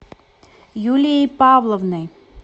юлией павловной